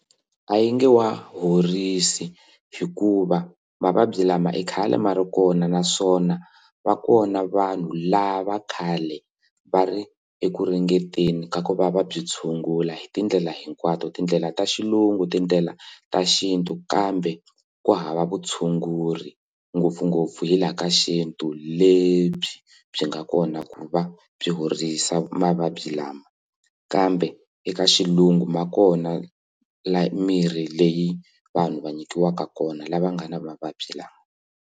A yi nge wa horisa hikuva mavabyi lama i khale ma ri kona naswona va kona vanhu lava khale va ri eku ringeteni ka ku va va byi tshungula hi tindlela hinkwato tindlela ta xilungu tindlela ta xintu kambe ku hava vutshunguri ngopfungopfu hi laha ka xintu lebyi byi nga kona ku va byi horisa mavabyi lama kambe eka xilungu ma kona la mirhi leyi vanhu va nyikiwaka kona lava nga na mavabyi lawa.